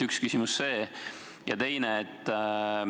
Üks küsimus oli see.